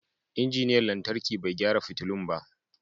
Injiniyan lantarki bai gyara fitulun ba.